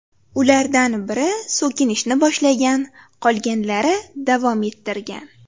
Ulardan biri so‘kinishni boshlagan, qolganlari davom ettirgan.